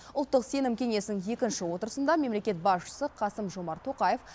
ұлттық сенім кеңесінің екінші отырысында мемлекет басшысы қасым жомарт тоқаев